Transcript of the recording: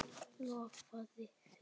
Ég lofaði því.